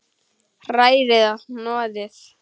Hrærið og hnoðið.